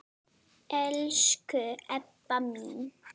Elsku Ebba mín.